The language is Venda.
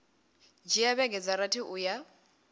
dzhia vhege dza rathi uya